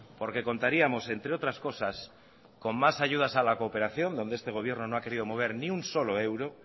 porque contaríamos entre otras cosas con más ayudas a la cooperación donde este gobierno no ha querido mover ni un solo euro